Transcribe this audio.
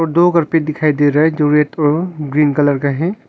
और दो कारपेट दिखाई दे रहा है जो रेड और ग्रीन कलर का है।